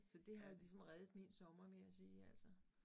Så det har ligesom reddet min sommer må jeg sige altså